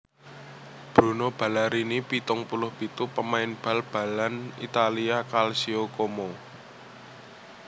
Bruno Ballarini pitung puluh pitu pamain bal balan Italia Calcio Como